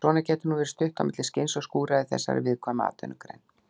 Svona getur nú verið stutt á milli skins og skúra í þessari viðkvæmu atvinnugrein.